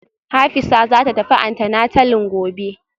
Hafisa zata tafi antenatalin gobe